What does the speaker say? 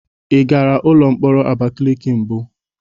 Ị gara ụlọ mkpọrọ Abakiliki mbụ?